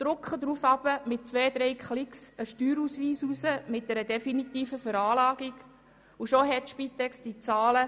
Daraufhin drucken wir mit zwei, drei Klicks einen Steuerausweis mit einer definitiven Veranlagung aus, und schon verfügt die Spitex über die benötigten Zahlen.